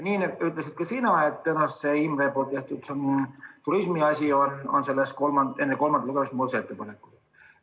Nii ütlesid ka sina, et tõenäoliselt Imre tehtud turismi saab enne kolmandat lugemist muudatusettepanekuks.